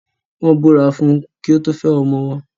Wọ́n Ìbúra fún kín tó fẹ́ ọmọ wọn.